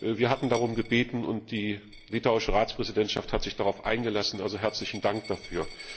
Wir hatten darum gebeten und die litauische Ratspräsidentschaft hat sich darauf eingelassen also herzlichen Dank dafür.